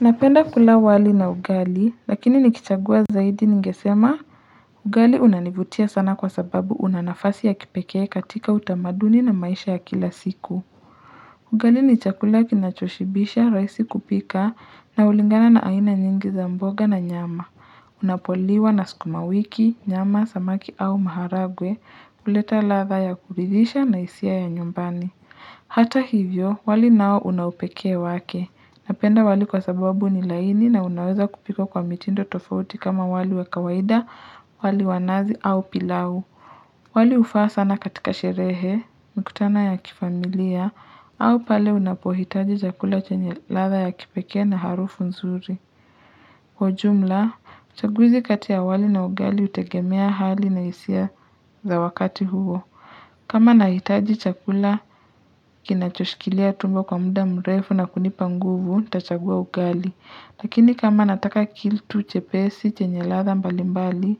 Napenda kula wali na ugali, lakini nikichagua zaidi ningesema ugali unanivutia sana kwa sababu una nafasi ya kipekee katika utamaduni na maisha ya kila siku. Ugali ni chakula kinachoshibisha, rahisi kupika na hulingana na aina nyingi za mboga na nyama. Unapoliwa na sukuma wiki, nyama, samaki au maharagwe, huleta ladha ya kuridhisha na hisia ya nyumbani. Hata hivyo, wali nao una upekee wake. Napenda wali kwa sababu ni laini na unaweza kupikwa kwa mitindo tofauti kama wali wa kawaida, wali wa nazi au pilau. Wali hufaa sana katika sherehe, mkutano ya kifamilia, au pale unapohitaji chakula chenye ladha ya kipekee na harufu nzuri. Kwa jumla, uchagwizi kati ya wali na ugali hutegemea hali na hisia za wakati huo. Kama nahitaji chakula, kinachoshikilia tumbo kwa muda mrefu na kunipa nguvu, nitachagua ugali. Lakini kama nataka kitu chepesi, chenye ladha mbali mbali,